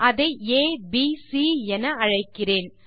அதை ஏபிசி என அழைக்கிறேன்